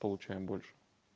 получаем больше